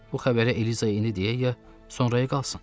Bu xəbəri Elizaya indi deyək ya sonraya qalsın?